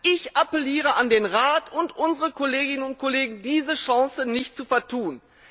Ich appelliere an den Rat und an unsere Kolleginnen und Kollegen, diese Chance nicht zu vertun!